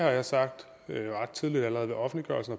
og jeg sagde ret tydeligt allerede ved offentliggørelsen